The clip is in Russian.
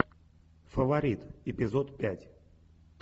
фаворит эпизод пять